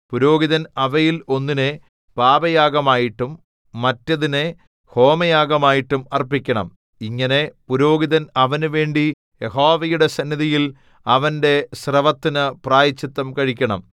പുരോഹിതൻ അവയിൽ ഒന്നിനെ പാപയാഗമായിട്ടും മറ്റേതിനെ ഹോമയാഗമായിട്ടും അർപ്പിക്കണം ഇങ്ങനെ പുരോഹിതൻ അവനുവേണ്ടി യഹോവയുടെ സന്നിധിയിൽ അവന്റെ സ്രവത്തിനു പ്രായശ്ചിത്തം കഴിക്കണം